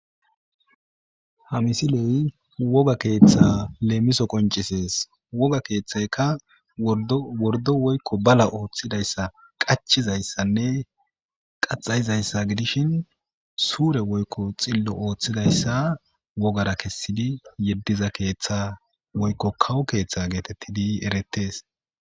Ha misiley woga ketha qoncise woga kethathaka wordo woyko bala othidaysa qacizaysanne qaxayizaysa gidishin sure woyko xilo othidaysa wogaea kesidi yediza ketha woyko kawo ketha getetidi eretes